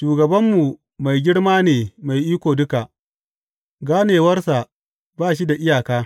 Shugabanmu mai girma ne mai iko duka; ganewarsa ba shi da iyaka.